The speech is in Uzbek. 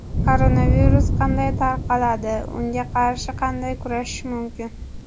Koronavirus qanday tarqaladi - unga qarshi qanday kurashish mumkin?.